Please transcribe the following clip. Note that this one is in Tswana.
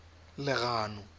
legano